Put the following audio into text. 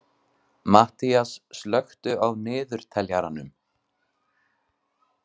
Matthías, slökktu á niðurteljaranum.